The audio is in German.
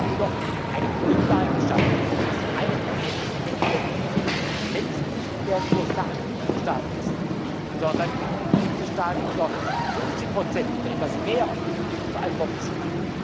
kommen. Damit haben wir doch eine Grundlage dafür geschaffen, dass zum einen der Energiemix längst nicht mehr nur Sache der Mitgliedstaaten ist, sondern die Mitgliedstaaten zu 50 oder etwas mehr verantwortlich